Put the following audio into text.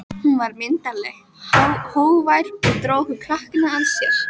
Hún var myndarleg, hógvær og dró okkur krakkana að sér.